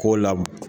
K'o la